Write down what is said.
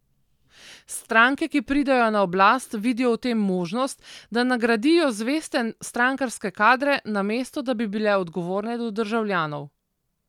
Stranke, ki pridejo na oblast, vidijo v tem možnost, da nagradijo zveste strankarske kadre, namesto da bi bile odgovorne do državljanov.